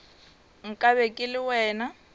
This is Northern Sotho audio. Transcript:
nka be ke le wena